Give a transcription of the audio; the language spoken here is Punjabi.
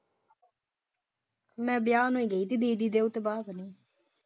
ਮੈਂ ਵਿਆਹ ਨੂੰ ਹੀ ਗਈ ਸੀ ਦੀਦੀ ਦੇ ਉਸ ਤੋਂ ਬਾਅਦ ਨਹੀਂ।